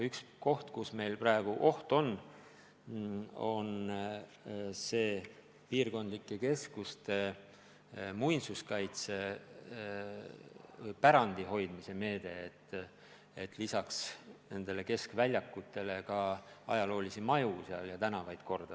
Üks meede, mida meil praegu ähvardab oht, on piirkondlike keskuste muinsuskaitsepärandi hoidmise meede, mille abil lisaks keskväljakutele saaks korda teha ka ajaloolisi maju ja tänavaid.